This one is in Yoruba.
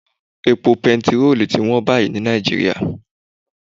Epo petiró ti wọ́n báyìí ní Nàìjíríà